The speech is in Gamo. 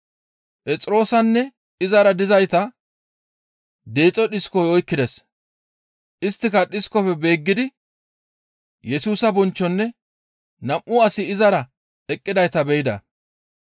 Phexroosanne izara dizayta deexo dhiskoy oykkides; isttika dhiskofe beeggidi Yesusa bonchchonne nam7u asi izara eqqidayta be7ida.